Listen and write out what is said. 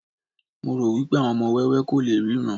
mo ro wipe àwọn ọmọ ọwọ ko le ríran